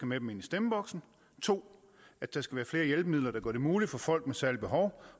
med dem ind i stemmeboksen 2 at der skal være flere hjælpemidler der gør det muligt for folk med særlige behov